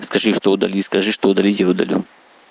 скажи кто удалил скажи что удалить я удалю